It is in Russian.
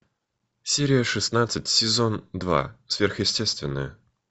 серия шестнадцать сезон два сверхъестественное